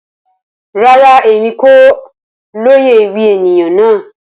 Rara, Emi ko loye ewi eniyan naa.